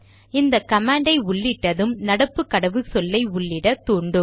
இந்த கமாண்டை உள்ளிட்டது நடப்பு கடவுச்சொல்லை உள்ளிட தூண்டும்